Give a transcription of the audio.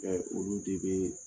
I y'a ye olu de bɛ